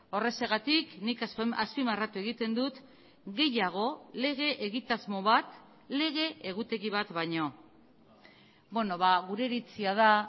horrexegatik nik azpimarratu egiten dut gehiago lege egitasmo bat lege egutegi bat baino gure iritzia da